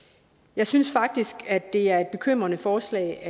jeg synes faktisk at det er et bekymrende forslag